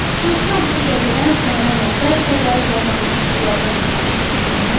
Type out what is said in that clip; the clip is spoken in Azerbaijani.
Soruşuram bu qədədən sənə nə, bəlkə də qazandığı pullardan çırpışdırırsan, hə?